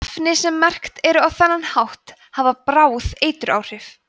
efni sem merkt eru á þennan hátt hafa bráð eituráhrif